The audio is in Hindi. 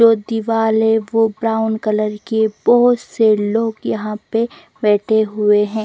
जो दीवाल है वो ब्राउन कलर की है बहुत से लोग यहां पे बैठे हुए हैं।